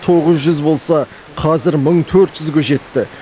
тоғыз жүз болса қазір мың төрт жүзге жетті